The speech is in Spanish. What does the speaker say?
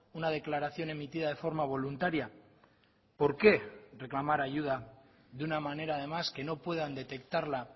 una declaración emitida de forma voluntaria por qué reclamar ayuda de una manera además que no puedan detectarla